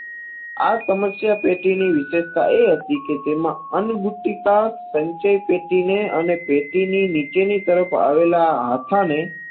આ સમશ્યા પેટીની વિષેશતા એ હતી કે તેમાં અન્ન બુટીકા સંચય પેટીને અને પેટીની નીચેની તરફ આવેલા હાથાને